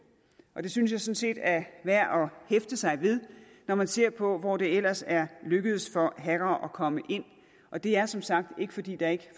synes jeg sådan set er værd at hæfte sig ved når man ser på hvor det ellers er lykkedes for hackere at komme ind og det er som sagt ikke fordi der ikke